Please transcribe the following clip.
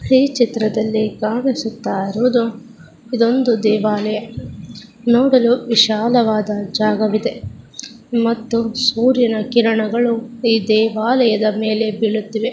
ಈ ಚಿತ್ರದಲ್ಲಿ ಕಾಣಿಸುತ್ತಾ ಇರುವುದು ಇದು ಒಂದು ದೇವಾಲಯ. ನೋಡಲು ವಿಶಾಲವಾದ ಜಾಗವಿದೆ ಮತ್ತು ಸೂರ್ಯನ ಕಿರಣಗಳು ಈ ದೇವಾಲಯದ ಮೇಲೆ ಬೀಳುತ್ತಿವೆ.